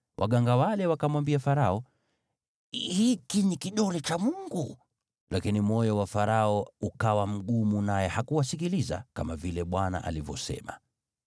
Waganga wale wakamwambia Farao, “Hiki ni kidole cha Mungu.” Lakini moyo wa Farao ukawa mgumu naye hakuwasikiliza, kama vile Bwana alivyosema.